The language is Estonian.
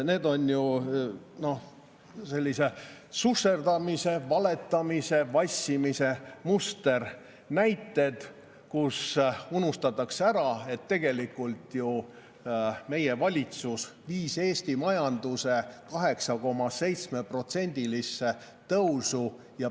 Need on susserdamise, valetamise ja vassimise musternäited, mille puhul unustatakse ära, et tegelikult ju meie valitsus viis Eesti majanduse 8,7%-lisse tõusu.